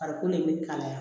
Farikolo de bɛ kalaya